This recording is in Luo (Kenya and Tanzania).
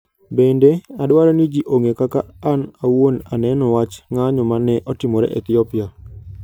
Bende, adwaro ni ji ong'e kaka an awuon aneno wach ng'anyo ma ne otimore Ethiopia.